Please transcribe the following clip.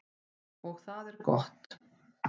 Og það er gott.